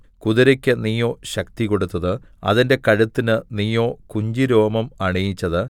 കുതിരയ്ക്ക് നീയോ ശക്തി കൊടുത്തത് അതിന്റെ കഴുത്തിന് നീയോ കുഞ്ചിരോമം അണിയിച്ചത്